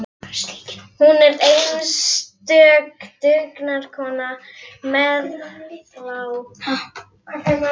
Hún var einstök dugnaðarkona, meðalhá, grannvaxin og létt í hreyfingum.